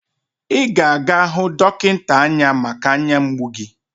Ị ga-aga hụ dọkịnta anya maka anya mgbu gi